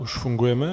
Už fungujeme?